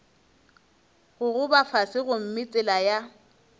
gogoba fase gomme tsela ya